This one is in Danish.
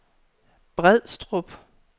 Brædstrup